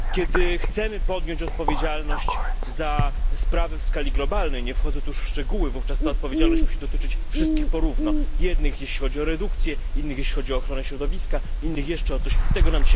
Kiedy chcemy podjąć odpowiedzialność za sprawy w skali globalnej, nie wchodzę tu już w szczegóły, wówczas ta odpowiedzialność musi dotyczyć wszystkich po równo, jednych jeśli chodzi o redukcję, innych jeśli chodzi o ochronę środowiska, innych jeszcze o coś tego nam dzisiaj brakuje.